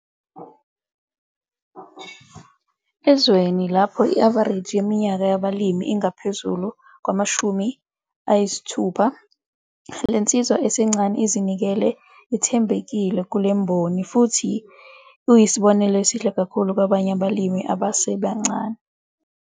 Ezweni lapho i-avareji yeminyaka yabalimi ingaphezulu kwama-60, le nsizwa esencane ezinikele ithembekile kule mboni kanti futhi uyisibonelo esihle kakhulu kwabanye abalimi abasebancane.